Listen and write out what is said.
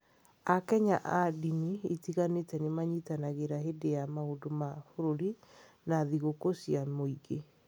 AKenya a ndini itiganĩte nĩ manyitanagĩra hĩndĩ ya maũndũ ma bũrũri na thigũkũ cia mũingĩ.